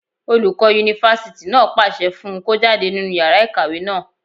Olùkọ́ yunifásítì náà pàṣẹ fún un kó jáde nínú yàrá ìkàwé náà